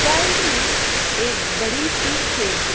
side में एक बड़ी सी शेड दी--